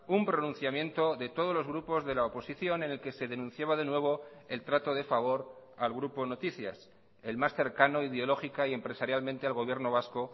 un pronunciamiento de todos los grupos de la oposición en el que se denunciaba de nuevo el trato de favor al grupo noticias el más cercano ideológica y empresarialmente al gobierno vasco